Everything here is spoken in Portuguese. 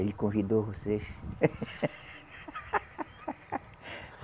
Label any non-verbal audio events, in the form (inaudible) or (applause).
Ele convidou vocês? (laughs)